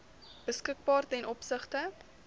beskikbaar ten opsigte